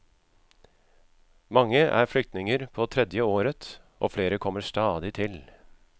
Mange er flyktninger på tredje året, og flere kommer stadig til.